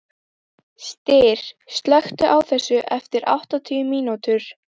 Styr, slökktu á þessu eftir áttatíu mínútur.